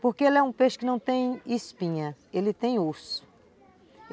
Porque ele é um peixe que não tem espinha, ele tem osso.